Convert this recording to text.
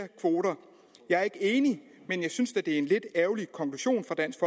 kvoter jeg er ikke enig men jeg synes da at det er en lidt ærgerlig konklusion fra dansk